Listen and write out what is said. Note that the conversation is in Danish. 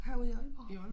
Herude i Aalborg